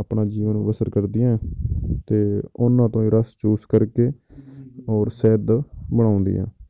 ਆਪਣਾ ਜੀਵਨ ਬਸ਼ਰ ਕਰਦੀਆਂ ਹੈ ਤੇ ਉਹਨਾਂ ਤੋਂ ਹੀ ਰਸ ਚੂਸ ਕਰਕੇ ਔਰ ਸ਼ਹਿਦ ਬਣਾਉਂਦੀਆਂ